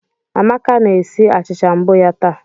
Amaka na-esi achịcha mbụ ya taa